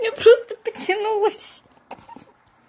я просто потянулась хи-хи